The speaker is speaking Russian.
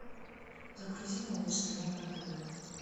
загрузи малыш тв на тв